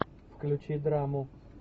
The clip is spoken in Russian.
включи драму